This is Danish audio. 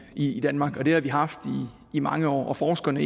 i danmark og det har vi haft i mange år forskerne